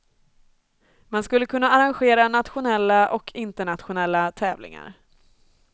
Man skulle kunna arrangera nationella och internationella tävlingar.